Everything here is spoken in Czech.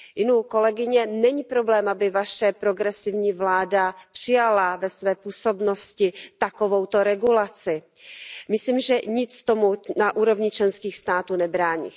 Inu, kolegyně, není problém, aby vaše progresivní vláda přijala ve své působnosti takovouto regulaci. Myslím, že nic tomu na úrovni členských států nebrání.